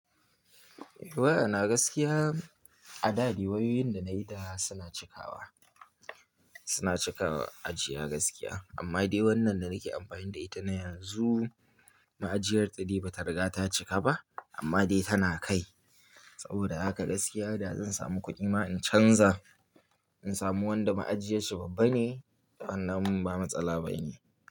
E wayana gaskiya a dadai wayoyin da nayi da suna cikawa, suna cikawa ajiya gaskiya amma dai wannan da nake amfani da ita na yanzu. Ma'ajiyar ta dai ba tariga ta cika ba amma dai tana kai saboda haka gaskiya da zan samu kuɗi ma in canza, in samu wanda ma'ajiyarsa babba ne, dan wannan ba matsala bane.